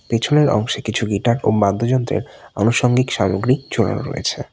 পিছনের অংশে কিছু গিটার ও বাদ্যযন্ত্রের আনুষঙ্গিক সামগ্রী ঝোলানো রয়েছে।